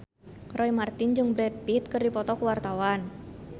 Roy Marten jeung Brad Pitt keur dipoto ku wartawan